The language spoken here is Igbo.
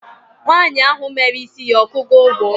nwanyi ahu mere isi ya okugo ugwo?